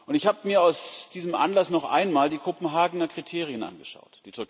Ich habe mir aus diesem Anlass noch einmal die Kopenhagener Kriterien angeschaut.